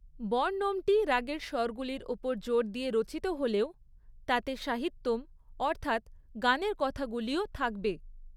বর্ণমটি রাগের স্বরগুলির ওপর জোর দিয়ে রচিত হলেও তাতে সাহিত্যম, অর্থাৎ গানের কথাগুলিও থাকবে।